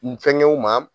N fɛnkɛw ma